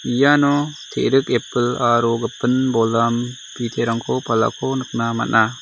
iano te·rik epil aro gipin bolam biterangko palako nikna man·a.